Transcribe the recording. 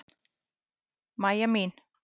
Mæja mín.